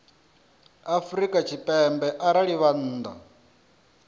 afrika tshipembe arali vha nnḓa